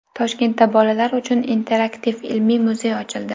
Toshkentda bolalar uchun interaktiv ilmiy muzey ochildi.